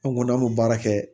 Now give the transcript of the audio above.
An ko n'an b'o baara kɛ